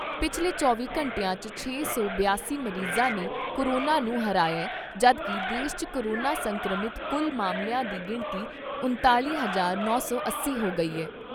ਪਿਛਲੇ ਚੌਵੀਂ ਘੰਟਿਆਂ 'ਚ ਛੇ ਸੌ ਬਿਆਸੀ ਮਰੀਜਾਂ ਨੇ ਕੋਰੋਨਾ ਨੂੰ ਹਰਾਇਐ ਜਦੋਂ ਕਿ ਦੇਸ਼ 'ਚ ਕੋਰੋਨਾ ਸੰਕਰਮਿਤ ਕੁੱਲ ਮਾਮਲਿਆਂ ਦੀ ਗਿਣਤੀ ਉਣਤਾਲ਼ੀ ਹਜ਼ਾਰ ਨੌ ਸੌ ਅੱਸੀ ਹੋ ਗਈ ਏ।